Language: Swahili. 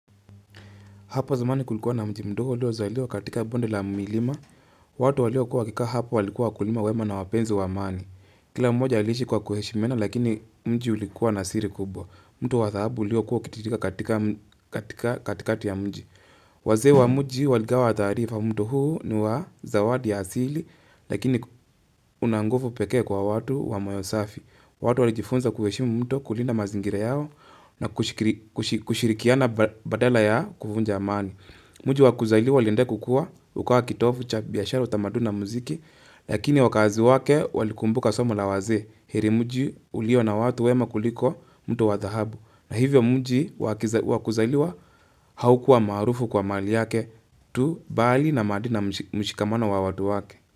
Hapo zamani kulikuwa na mji mdogo ulio zaliwa katika bonde la milima. Watu waliyo kuwa wa kikaa hapo walikuwa kulima wema na wapenzi wa amani. Kila mmoja aliishi kwa kuheshimiana lakini mji ulikuwa na siri kubwa. Mto wa dhahabu uliyo kuwa ukitiririka katika katikati ya mji. Wazee wa mji waligawa taarifa mto huu ni wa zawadi ya asili lakini unanguvu pekee kwa watu wa moyo safi. Watu walijifunza kuheshimu mto kulinda mazingira yao na kushirikiana badala ya kuvunja amani. Mji wa kuzaliwa uliendelea kukuwa ukawa kitovu cha biashara, utamaduni na muziki, lakini wakazi wake walikumbuka somo la wazee. Heri mji ulio na watu wema kuliko mtu wa dhahabu. Na hivyo mji wa kuzaliwa haukuwa maarufu kwa mali yake tu bali na mshikamano wa watu wake.